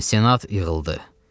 Senat yığıldı.